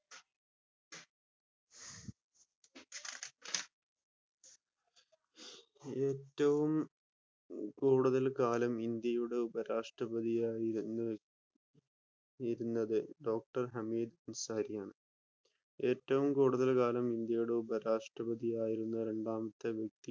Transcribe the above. ഏറ്റവും കൂടുതൽ കാലം ഇന്ത്യയുടെ ഉപരാഷ്ട്രപതിയാവുന്ന വ്യക്തി ഡോക്ടർ ഹമീദ് അൻസാരിയാണ്. ഏറ്റവും കൂടുതൽ കാലം ഇന്ത്യയുടെ ഉപരാഷ്ട്രപതിയാവുന്ന രണ്ടാമത്തെ വ്യക്തി